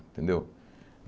Entendeu?